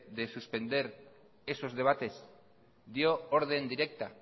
de suspender esos debates dio orden directa